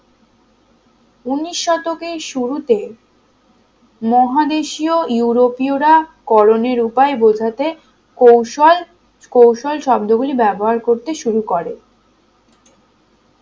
উনিশ শতকের শুরুতে মহাদেশীয় ইউরোপীয়রা করণের উপায় বোঝাতে কৌশল কৌশল শব্দ গুলি ব্যবহার করতে শুরু করে